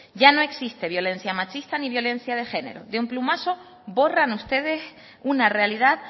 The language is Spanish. ya no existe violencia machista ni violencia de género de un plumazo borran ustedes una realidad